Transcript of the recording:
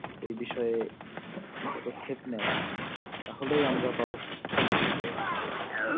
এই বিষয়য়ে পদক্ষেপ নাই তাহলেই আমরা পাবো সুস্থ জীবন